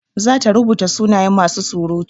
Za ta rubuta sunayen masu surutu.